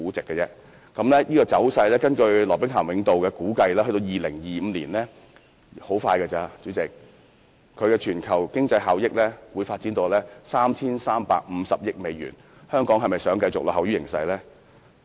根據羅兵咸永道估計，這個走勢到2025年——代理主席，很快便會到來——在全球經濟效益中會發展到 3,350 億美元，香港是否想繼續落後於形勢呢？